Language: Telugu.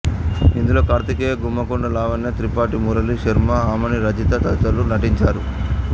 ఇందులో కార్తికేయ గుమ్మకొండ లావణ్య త్రిపాఠి మురళీ శర్మ అమని రజిత తదితరులు నటించారు